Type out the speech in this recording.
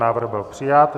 Návrh byl přijat.